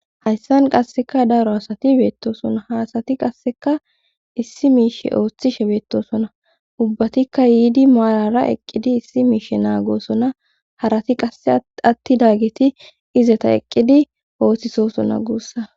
hayssan qasseka daro asati beettosona haasati qasseka issi miishe ooththishe beettosona ubbatikka yiidi maalara eqqidi issi miishe naagoosona harati qasse atti dageti izeta eqqidi ooththisosona guussa